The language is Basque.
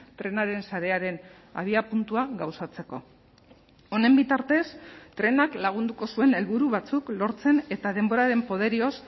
trenaren sarearen abiapuntua gauzatzeko honen bitartez trenak lagunduko zuen helburu batzuk lortzen eta denboraren poderioz